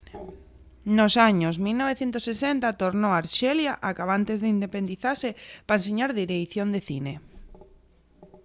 nos años 1960 tornó a arxelia acabantes d'independizase pa enseñar direición de cine